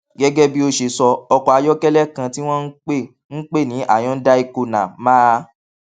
gégé bí ó ṣe sọ ọkò ayókélé kan tí wón ń pè ń pè ní hyundai kona máa